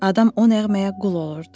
Adam o nəğməyə qul olurdu.